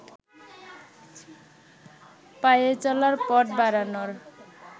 পায়ে চলার পথ বাড়ানোর